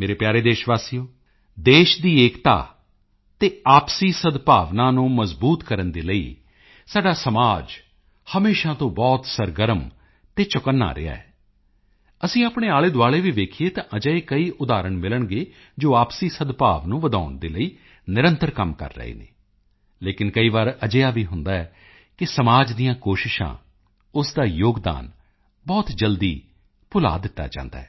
ਮੇਰੇ ਪਿਆਰੇ ਦੇਸ਼ਵਾਸੀਓ ਦੇਸ਼ ਦੀ ਏਕਤਾ ਅਤੇ ਆਪਸੀ ਸਦਭਾਵਨਾ ਨੂੰ ਮਜਬੂਤ ਕਰਨ ਦੇ ਲਈ ਸਾਡਾ ਸਮਾਜ ਹਮੇਸ਼ਾ ਤੋਂ ਬਹੁਤ ਸਰਗਰਮ ਅਤੇ ਚੌਕੰਨਾ ਰਿਹਾ ਹੈ ਅਸੀਂ ਆਪਣੇ ਆਲੇਦੁਆਲੇ ਵੀ ਵੇਖੀਏ ਤਾਂ ਅਜਿਹੇ ਕਈ ਉਦਾਹਰਨ ਮਿਲਣਗੇ ਜੋ ਆਪਸੀ ਸਦਭਾਵ ਨੂੰ ਵਧਾਉਣ ਦੇ ਲਈ ਨਿਰੰਤਰ ਕੰਮ ਕਰ ਰਹੇ ਹਨ ਲੇਕਿਨ ਕਈ ਵਾਰ ਅਜਿਹਾ ਵੀ ਹੁੰਦਾ ਹੈ ਕਿ ਸਮਾਜ ਦੀਆਂ ਕੋਸ਼ਿਸ਼ਾਂ ਉਸ ਦਾ ਯੋਗਦਾਨ ਬਹੁਤ ਜਲਦੀ ਭੁਲਾ ਦਿੱਤਾ ਜਾਂਦਾ ਹੈ